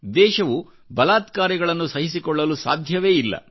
ದೇಶವು ಬಲಾತ್ಕಾರಿಗಳನ್ನುಸಹಿಸಿಕೊಳ್ಳಲು ಸಾಧ್ಯವೇ ಇಲ್ಲ